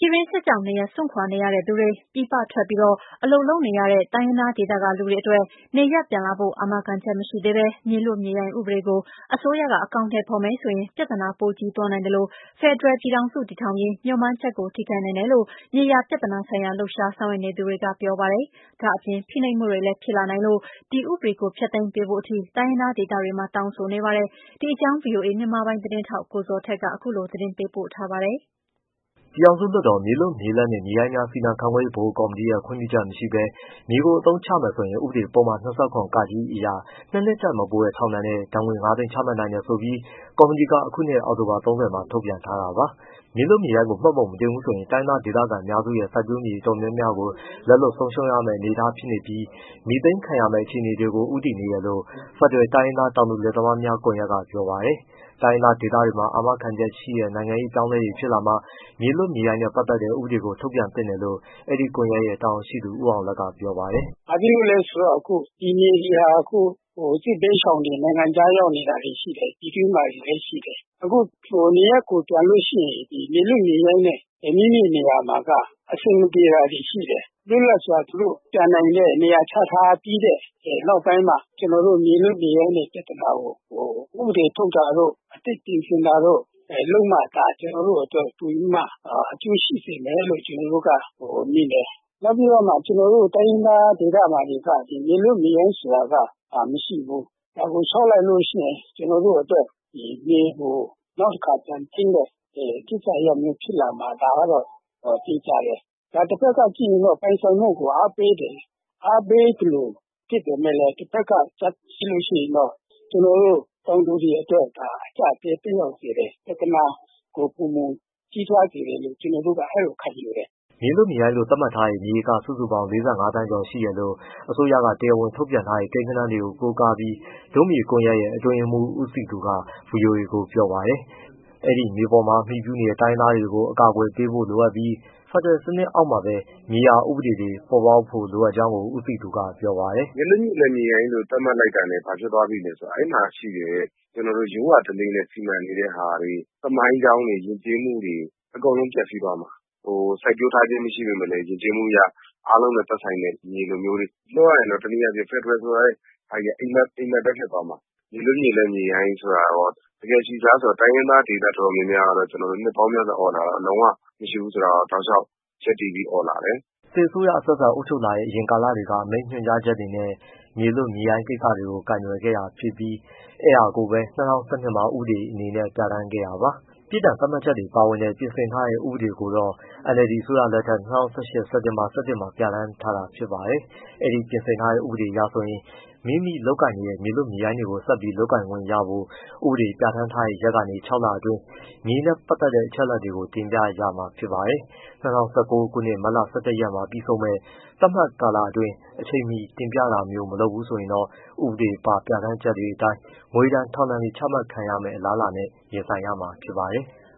ြည်တွင်းစစ်ကြောင့်နေရပ်စွန့်ခွာနေရတဲ့သူတွေ၊ ပြည်ပထွက်ပြီးအလုပ်လုပ်နေရတဲ့ တိုင်းရင်းသားဒေသကလူတွေအတွက် နေရပ်ပြန်လာဖို့ အာမခံချက်မရှိသေးဘဲ မြေလွတ်မြေရိုင်းဥပဒေကို အစိုးရကအကောင်အထည်ဖော်မယ်ဆိုရင် ပြဿနာ ပိုကြီးသွားနိုင်သလို ဖက်ဒရယ်ပြည်ထောင်စု တည်ထောင်ရေး မေ ျှာ်မှန်းချက်ကို ထိခိုက်နိုင်တယ်လို့ မြေယာပြဿနာဆိုင်ရာ လှုပ်ရှား ဆောင်ရွက်နေသူတွေက ပြောပါတယ်။ ဒါ့အပြင် ဖိနှိပ်မှုတွေလည်းဖြစ်လာနိုင်လို့ ဒီဥပဒေကိုဖျက်သိမ်းပေးဖို့ထိ တိုင်းရင်းသားဒေသတွေ မှာ တောင်းဆိုနေပါတယ်။ ဒီအကြောင်း ဗွီအိုအေ မြန်မာပိုင်းသတင်းထောက် ကိုဇော်ထက် ပေးပို့ထားပါတယ်။ ပြည်ထောင်စုလွှတ်တော် မြေလွတ်၊ မြေလပ်နှင့် မြေရိုင်းများစီမံခန့်ခွဲရေး ဗဟိုကော်မတီရဲ့ ခွင့်ပြုချက်မရှိဘဲ မြေကိုအသုံးချမယ်ဆိုရင် ဥပဒေပုဒ်မ ၂၇ အရ ၂နှစ်ထက်မပိုတဲ့ထောင်ဒဏ်နဲ့ ဒဏ်ငွေငါးသိန်း ချမှတ်နိုင်တယ်ဆိုပြီး ကော်မတီက အခုနှစ်အောက်တိုဘာ ၃၀ မှာ ထုတ်ပြန်ထားတာပါ။ မြေလွတ်မြေရိုင်းကိုမှတ်ပုံမတင်ဘူးဆိုရင် တိုင်းရင်းသားဒေသခံအများစုရဲ့ စိုက်ပျိုးမြေအတော်များများကို လက်လွတ် ဆုံးရှုံးရမယ့်အနေအထားဖြစ်နေပြီး မြေသိမ်းခံရမယ့် အခြေအနေကို ဦးတည်နေတယ်လို့ ဖက်ဒရယ်တိုင်းရင်းသား တောင်သူလယ်သမားများ ကွန်ရက်က ပြောပါတယ်။ တိုင်းရင်းသားဒေသတွေမှာ အာမခံချက်ရှိတဲ့ နိုင်ငံရေးပြောင်းလဲမှုတွေရှိလာမှ မြေလွတ်မြေရိုင်းနဲ့ ပတ်သတ်တဲ့ ဥပဒေကိုထုတ်ပြန်သင့်တယ်လို့ အဲဒီကွန်ရက်ရဲ့ တာဝန်ရှိသူ ဦးအောင်လတ်ကပြောပါတယ်။ “ဘာဖြစ်လို့လဲဆိုတော့ ပြည်နယ်တွေဟာ စစ်ဘေးရှောင်တွေ နိုင်ငံခြားရောက်နေတာတွေရှိတယ်။ ပြည်တွင်းမှာလည်းရှိတယ်။ အခုနေရပ်ကိုပြန်လို့ရှိရင် မြေလွတ်မြေရိုင်းနဲ့ မိမိနေရာမှာက အဆင်မပြေတာတွေရှိတယ်။ လွတ်လပ်စွာသူတို့ပြန်နိုင်တဲ့၊ နေရာချထားပြီးတဲ့နောက်ပိုင်းမှာ ကျွန်တော်တို့မြေလွတ်မြေရိုင်းရဲ့ ပြဿနာကို ဥပဒေထုတ်တာတို့ အသစ်ပြင်ဆင်တာတို့ လုပ်မှသာ ကျွန်တော်တို့အတွက် အကျိုးရှိစေမယ်လို့ မြင်တယ်။ နောက်ပြီးတော့ ကျွန်တော်တို့ တိုင်းရင်းသား ဒေသမှာတွေက မြေလွတ်မြေရိုင်း ဆိုတာက မရှိဘူး။ ဒါကိုလျှောက်လိုက်လို့ရှိရင် ကျွန်တော်တို့အတွက် မြေကိုနောက်တစ်ခါပြန်သိမ်းတဲ့ ကိစ္စရပ်မျိုးဖြစ်လာမှာ ဒါကတော့ သေချာတယ်။ တစ်ဘက်ကကြည့်ရင် ပိုင်ဆိုင်မှုကိုအားပေးတယ် အားပေးသလိုဖြစ်ပေမဲ့လည်း တစ်ဘက်ကကြည့်ရင်တော့ ကျွန်တော်တို့ တောင်သူတွေအတွက်ဒါ အကျပ်အတည်းသက်ရောက်စေတယ်။ ပြဿနာကို ပိုမိုကြီးထွားစေတယ်လို့ ကျွန်တော်တို့ကအဲဒီလိုခံယူတယ်” မြေလွတ်မြေရိုင်းလို့သတ်မှတ်ထားတဲ့ မြေဧကစုစုပေါင်း ၄၅ သန်းကျော်ရှိတယ်လို့ အစိုးရက တရားဝင်ထုတ်ပြန်ထားတဲ့ ကိန်းဂဏန်းကို ကိုးကားပြီး ဒို့မြေကွန်ရက်ရဲ့ အတွင်းရေးမှူး ဦးစည်သူက ဗွီအိုအေကိုပြောပါတယ်။ အဲဒီမြေပေါ်မှာအမှီပြုနေတဲ့ တိုင်းရင်းသားတွေ ကိုအကာအကွယ် ပေးဖို့လိုအပ်ပြီး ဖက်ဒရယ်စနစ်အောက်မှာပဲ မြေယာဥပဒေတွေပေါ်ပေါက်ဖို့လိုလားကြောင်း ဦးစည်သူက ပြောပါတယ်။ “မြေလွတ်မြေရိုင်းလို့သတ်မှတ်လိုက်တာနဲ့ ဘာဖြစ်သွားပြီလဲဆိုတော့ အဲဒီမှာရှိတဲ့ ကျွန်တော်တို့ ရိုးရာဓလေ့နဲ့စီမံနေတဲ့ဟာတွေ၊ သမိုင်းကြောင်းတွေ၊ ယဉ်ကျေးမှုတွေ အကုန်လုံးပျက်စီးသွားမှာ။ စိုက်ပျိုးထားခြင်းမရှိပေမဲ့ ယဉ်ကျေးမှုအရ အားလုံးနဲ့သက်ဆိုင်တဲ့ မြေလိုမျိုးတွေ ပြောရရင်တော့ ဖက်ဒရယ်ဆိုတဲ့ဟာကြီးက အိပ်မက်ပဲဖြစ်သွားမှာ။ မြေလွတ်မြေရိုင်းဆိုတာရော တကယ်ရှိသလားဆိုတော့ တိုင်းရင်းသားဒေသတော်တော်များများကတော့ နှစ်ပေါင်းများစွာအော်လာတာ လုံးဝမရှိဘူးဆိုတာက တောက်လျှောက် ရပ်တည်ပြီအော်လာတယ်။” စစ်အစိုးရအဆက်ဆက် အုပ်ချုပ်ခဲ့ဲတဲ့ အရင်ကာလတွေက အမိန့်ညွှန်ကြားချက်နဲ့ မြေလွတ်မြေရိုင်းကိစ္စကို ကိုင်တွယ်ခဲ့တာဖြစ်ပြီး အဲဒါကိုပဲ၂၀၁၂မှာဥပဒေအနေနဲ့ပြဋ္ဌာန်းခဲ့တာပါ။ ပြစ်ဒဏ်သတ်မှတ်ချက်တွေပါဝင်တဲ့ ပြင်ဆင်ထားတဲ့ဥပဒေကိုတော့ NLD အစိုးရလက်ထက် ၂၀၁၈ စက်တင်ဘာ၁၁မှာပြဋ္ဌာန်းထားတာဖြစ်ပါတယ်။ အဲဒီ ပြင်ဆင်ထားတဲ့ဥပဒေအရဆိုရင် မိမိလုပ်ကိုင်နေတဲ့ မြေလွတ်၊ မြေရိုင်းကိုဆက်ပြီးလုပ်ကိုင်ခွင့်ရဖို့ ဥပဒေပြဋ္ဌာန်းတဲ့ရက်ကနေ ခြောက်လအတွင်း မြေနဲ့ပတ်သတ်တဲ့အချက်အလက်တွေကို တင်ပြရမှာဖြစ်ပါတယ်။ ၂၀၁၉ ခုနှစ် မတ်လ ၁၁ ရက်နေ့မှာ ပြီးဆုံးမယ့် သတ်မှတ်ကာလအတွင်း အချိန်မီ တင်ပြတာမျိုး မလုပ်ဘူးဆိုရင်တော့ ဥပဒေပါ ပြဌာန်းချက်တွေအတိုင်း ငွေဒဏ်၊ ထောင်ဒဏ်တွေ ချမှတ်ခံရမယ့် အလားအလာနဲ့ ရင်ဆိုင်ရမှာဖြစ်ပါတယ်။